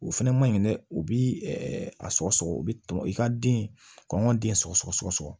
O fɛnɛ maɲi dɛ u bi a sɔgɔsɔgɔ u bi tɔn i ka den ka anw ka den sɔgɔsɔgɔ sɔgɔsɔgɔ